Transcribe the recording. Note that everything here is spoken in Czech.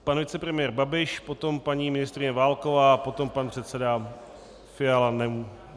Pan vicepremiér Babiš, potom paní ministryně Válková, potom pan předseda Fiala.